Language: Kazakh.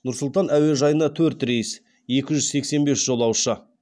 нұр сұлтан әуежайына төрт рейс екі жүз сексен бес жолаушы